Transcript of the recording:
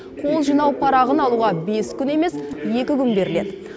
қол жинау парағын алуға бес күн емес екі күн беріледі